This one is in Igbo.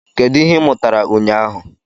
Kedu ihe ị mụtara ụnyaahụ?